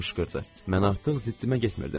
Mən artıq ziddimə getmirdim.